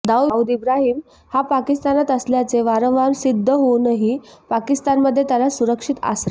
दाऊद इब्राहिम हा पाकिस्तानात असल्याचे वारंवार सिद्ध होऊनही पाकिस्तानमध्ये त्याला सुरक्षित आसरा